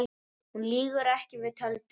Hún lýgur ekki, við töldum